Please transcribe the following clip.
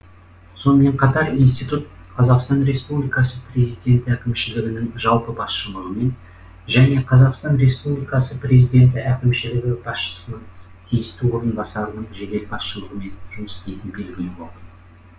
сонымен қатар институт қазақстан республикасы президенті әкімшілігінің жалпы басшылығымен және қазақстан республикасы президенті әкімшілігі басшысының тиісті орынбасарының жедел басшылығымен жұмыс істейтіні белгілі болды